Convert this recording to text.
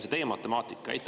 Milline on teie matemaatika?